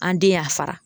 An den y'a fara